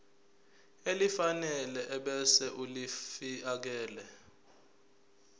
elifanele ebese ulifiakela